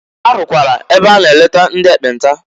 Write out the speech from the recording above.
Ha rụkwara ebe a na eleta ndị ekpenta.